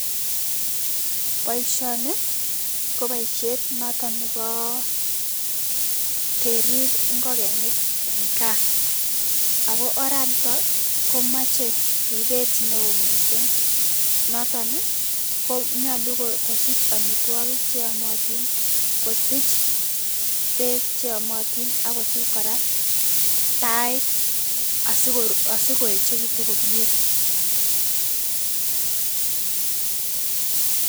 Boishoni koboishet noton nebo kerib ing'okenik en kaa, akoo oranito komoche ribeet neoo mising noton konyolu kosich amitwokik cheyomotin, kosich beek cheyomotin akosich kora tait asikoechekitun komie.